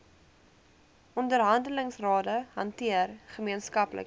onderhandelingsrade hanteer gemeenskaplike